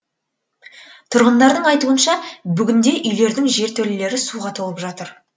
тұрғындардың айтуынша бүгінде үйлердің жертөлелері суға толып жатыр